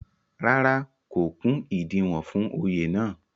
rárá, kò kún ìdiwọ̀n fún Oyè náà